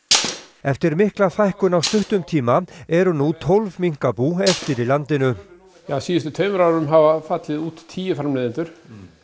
eftir mikla fækkun á stuttum tíma eru nú tólf minkabú eftir í landinu á síðustu tveimur árum hafa fallið út tíu framleiðendur